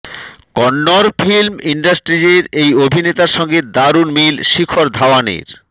Kannada film ইন্ডাসট্রিজের এই অভিনেতার সঙ্গে দারুণ মিল শিখর ধাওয়ানের